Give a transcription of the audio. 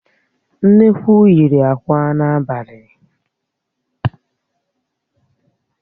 Nnekwu yiri àkwá n'abalị